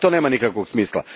Pa to nema nikakvog smisla.